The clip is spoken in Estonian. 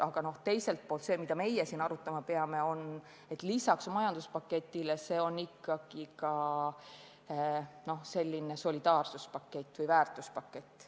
Aga teiselt poolt on see, mida meie siin arutama peame, lisaks majanduspaketile ikkagi ka selline solidaarsuspakett või väärtuspakett.